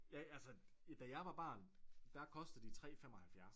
ja altså da jeg var barn der kostede de 3 75